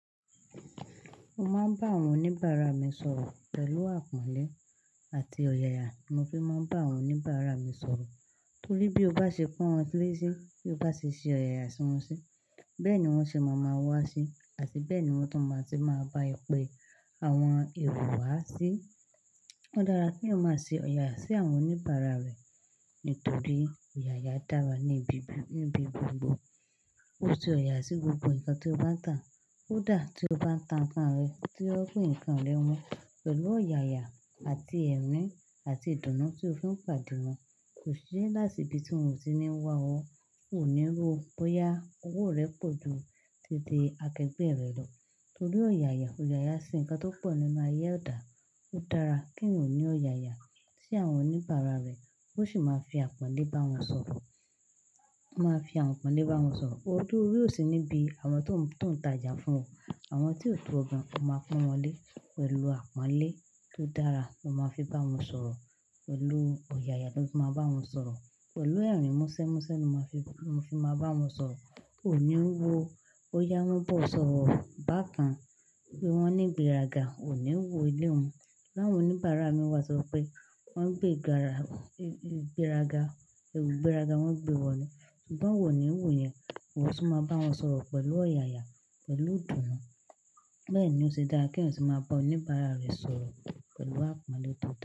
Mo máa ń bá àwọn oníbàárà mi sọ̀rọ̀ pẹ̀lú àpọ́nlé àti ọ̀yàyà ni mo fi máa ń bá àwọn oníbàárà mi sọ̀rọ̀. Torí bí o bá ṣe pọ́n wọn sílẹ̀ sí, bí o bá ṣe ṣe ọ̀yàyà sí wọn sí, bẹ́ẹ̀ ni wọ́n ṣe máa ma wá sí àti bẹ́ẹ̀ ni wọ́n tó máa ti máa bá ẹ pe àwọn ẹ̀rọ wa sí. Ó dára kí èyàn máa ṣe ọ̀yàyà sí àwọn oníbàárà rẹ nítorí ọ̀yàyà dára níbi-níbi gbogbo. O ṣe ọ̀yàyà sí gbogbo nǹkan tó bá ń tàn, ko dá tí o bá ń tàn ǹkan rẹ, tí ó fi ǹkan rẹ wán pẹ̀lú ọ̀yàyà àti ẹ̀rín àti ìdùnnú tí o fi ń pàdé wọn. Kò sí láṣìbí tí ohun tí ní ń wá ọ, o níí wo bóyá owó rẹ pọ̀ ju títí akẹgbẹ́ rẹ lọ torí ọ̀yàyà. Òyàyà sì ǹkan tó pọ̀ nínú ayé edà. Ó dára kí ń ò ní ọ̀yàyà sí àwọn oníbàárà rẹ bó sì máa fi àpọ́nlé bá wọn sọ̀rọ̀. Ma fi àwọn àpọ́nlé bá wọn sọ̀rọ̀. Odù úre ò sí níbí àwọn tó ń tajà fún ọ. Àwọn tí ò tó ọ gan, o máa pọ́n wọn lé pẹ̀lú àpọ́nlé tó dára ló máa fi bá wọn sọ̀rọ̀. Pẹ̀lú ọ̀yàyà ló fi máa bá wọn sọ̀rọ̀. Pẹ̀lú ẹ̀rín mọ́sẹ́ mọ́sẹ́ lo fi máa bá wọn sọ̀rọ̀. O níí wo bóyá wọ́n bọ̀ sọ̀rọ̀ bákan pé wọ́n ní ìgbéraga, o ní wo ilé wọn. Láwọn oníbàárà mi wá sọ pé wọ́n ń gbé ìgbéraga, ẹrù ìgbéraga wọ́n ń gbé wọ ni ṣùgbọ́n iwọ ò ní wòó yẹn. Òun tún máa bá wọn sọ̀rọ̀ pẹ̀lú ọ̀yàyà, pẹ̀lú ìdùnnú. Bẹ́ẹ̀ ni ó ṣe dára kí ọ̀yún sì máa bá oníbàárà rẹ sọ̀rọ̀ pẹ̀lú àpọ́nlé tó dára.